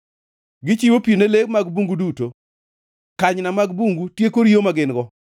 Gichiwo pi ne le mag bungu duto; kanyna mag bungu tieko riyo ma gin-go.